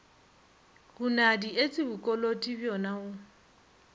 hunadi etse bokoloti bjona o